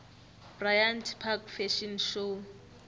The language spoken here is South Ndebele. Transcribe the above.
bryant park fashion show